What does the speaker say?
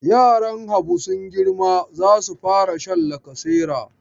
Yaran Habu sun girma za su fara sha lacasera.